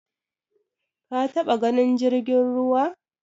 Ka taba ganin jirgin ruwa?